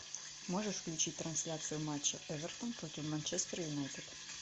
можешь включить трансляцию матча эвертон против манчестер юнайтед